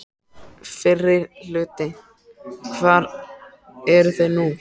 Fyrri hluti Hvar eru þeir nú?